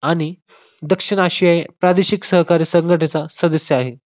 आणि दक्षिण आशिया या प्रादेशिक सहकार्य संघटना संघटनेचा सदस्य आहे.